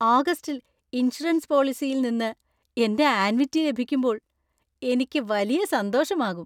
ഓഗസ്റ്റിൽ ഇൻഷുറൻസ് പോളിസിയിൽ നിന്ന് എന്‍റെ ആന്വിറ്റി ലഭിക്കുമ്പോൾ എനിക്ക് വലിയ സന്തോഷമാകും .